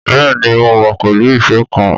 Bẹ́ẹ̀ ni, mo wà pẹ̀lú ife kan